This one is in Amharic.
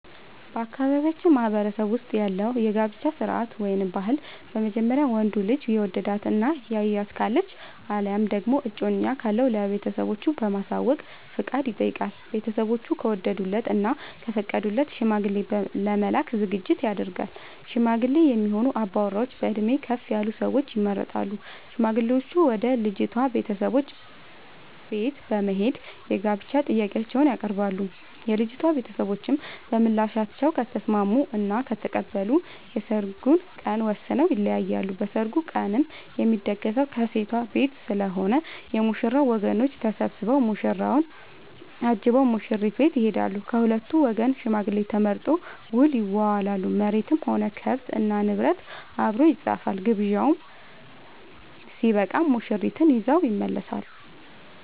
በአካባቢያችን ማህበረሰብ ውስጥ ያለው የጋብቻ ስርዓት/ ባህል በመጀመሪያ ወንዱ ልጅ የወደዳት እና ያያት ካለች አለያም ደግሞ እጮኛ ካለው ለቤተሰቦቹ በማሳወቅ ፍቃድ ይጠይቃል። ቤተስቦቹ ከወደዱለት እና ከፈቀዱለት ሽማግሌ ለመላክ ዝግጅት ይደረጋል። ሽማግሌ የሚሆኑ አባወራዎች በእድሜ ከፍ ያሉ ሰዎች ይመረጣሉ። ሽማግሌዎቹም ወደ ልጅቷ ቤተሰቦች በት በመሄድ የጋብቻ ጥያቄአቸውን ያቀርባሉ። የልጂቷ ቤተሰቦችም በምላሻቸው ከተስምስሙ እና ከተቀበሉ የሰርግ ቀን ወስነው ይለያያሉ። በሰርጉ ቀንም የሚደገሰው ከሴት ቤት ስለሆነ የ ሙሽራው ወገኖች ተሰብስቧ ሙሽራውን አጅበው ሙሽሪት ቤት ይሄዳሉ። ከሁለቱም ወገን ሽማግሌ ተመርጦ ውል ይዋዋላሉ መሬትም ሆነ ከብት እና ንብረት አብሮ ይፃፋል። ግብዣው ስበቃም ሙሽርትን ይዘው ይመለሳሉ።